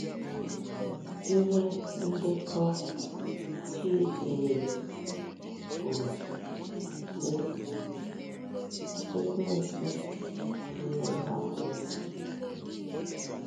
Ihe ndekọ Chidiew kwuru, sị: “ Ekwensu wee hapụ ya.”